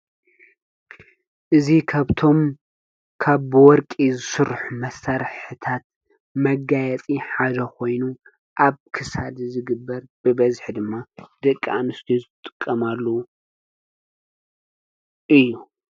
እዙ ኸብቶም ካ ብወርቂ ዝሱርኅ መሠርሕታት መጋያጢ ሓዞ ኾይኑ ኣብ ክሳድ ዝግበር ብበዝኅ ድማ ደቂ ኣንስቶ ዘጥቀማሉ እዩ።